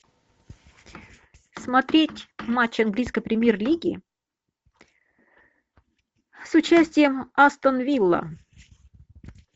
смотреть матч английской премьер лиги с участием астон вилла